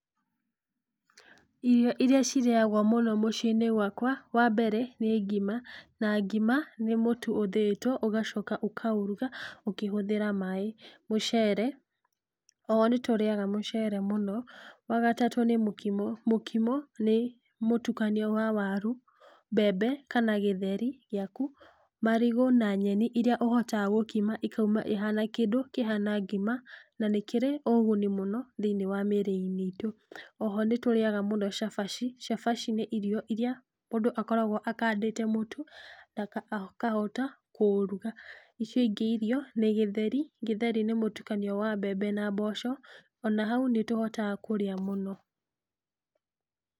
Irio iria cirĩagwo mũno mũciinĩ gwakwa wa mbere nĩ ngima, na ngima nĩ mũtu ũthĩitwo, ũgacoka ũkaũruga, ũkĩhũthĩra maĩ, mũcere, oho nĩtũriaga mũcere mũno, wagatatũ nĩ mũkimo. Mũkimo nĩ mũtukanio wa waru, mbembe kana gĩtheri, giaku, marigũ na nyeni iria ũhotaga gũkima ikauma ĩhana kindũ kĩhana ngima, na nĩkĩrĩ ũguni mũno thinĩ wa mĩrĩinĩ itũ. Oho nĩtũriaga mũno cabaci. Cabaci nĩ irio iria mũndũ akoragwo akandĩte mũtu, akahota kũuruga. Icio ingĩ irio, nĩ gĩtheri, gĩtheri nĩ mũtukanio wa mbembe na mboco, ona hau nĩtũhotaga kũrĩa mũno.